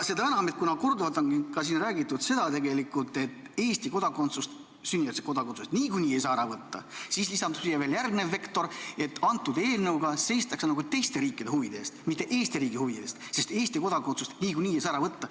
Seda enam, et kuna siin on tegelikult korduvalt räägitud, et Eesti kodakondsust, sünnijärgset kodakondsust niikuinii ei saa ära võtta, siis lisandub siia veel järgnev vektor, et antud eelnõuga seistakse nagu teiste riikide huvide eest, mitte Eesti riigi huvide eest, sest Eesti kodakondsust niikuinii ei saa ära võtta.